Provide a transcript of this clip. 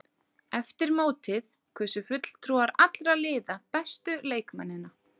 Eftir mótið kusu fulltrúar allra liða bestu leikmennina.